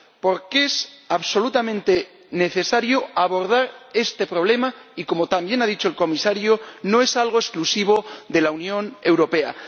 Porque es absolutamente necesario abordar este problema −como también ha dicho el Comisario−, que no es exclusivo de la Unión Europea.